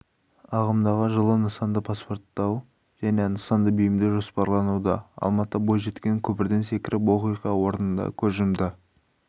ағымдағы жылы нысанды паспорттау және нысанды бейімдеу жоспарлануда алматыда бойжеткен көпірден секіріп оқиға орнында көз жұмды